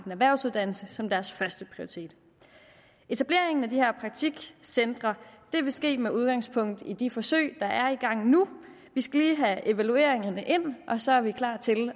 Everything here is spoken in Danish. erhvervsuddannelse som deres førsteprioritet etableringen af de her praktikcentre vil ske med udgangspunkt i de forsøg der er i gang nu vi skal lige have evalueringerne ind og så er vi klar til